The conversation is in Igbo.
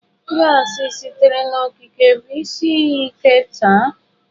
Gassi sitere n'okike bụ isi iyi ike taa.